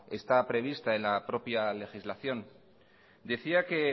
está prevista en la propia legislación decía que